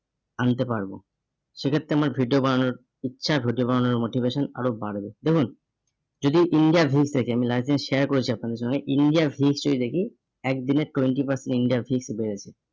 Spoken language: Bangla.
আনতে পারবো। সেক্ষেত্রে আমার video বানানোর ইচ্ছা video বানানোর motivation আরো বাড়বে। দেখুন যদি India থেকে আমি license share করেছি আপনাদের সঙ্গে India huge যদি দেখি একদিনে twenty percent India এর fees উঠে গেছে।